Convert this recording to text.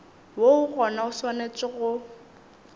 woo gona o swanetše go